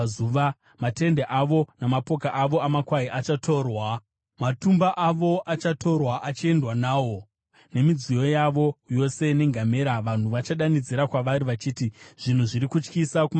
Matende avo namapoka avo amakwai achatorwa; matumba avo achatorwa achiendwa nawo, nemidziyo yavo yose nengamera. Vanhu vachadanidzira kwavari vachiti, ‘Zvinhu zviri kutyisa kumativi ose!’